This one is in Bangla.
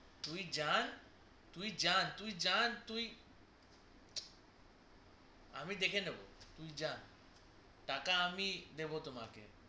তুই যান তুই যান তুই যান আমি দেখে নেবো তুই যা টাকা আমি দেব তোমাকে